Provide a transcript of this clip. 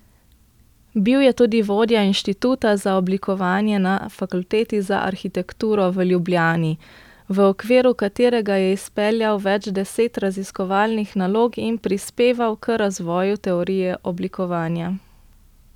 Bil je tudi vodja inštituta za oblikovanje na Fakulteti za arhitekturo v Ljubljani, v okviru katerega je izpeljal več deset raziskovalnih nalog in prispeval k razvoju teorije oblikovanja.